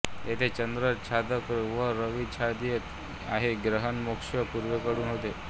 येथे चंद्र छादक व रवि छादय आहे ग्रहण मोक्ष पूर्वेकडून होतो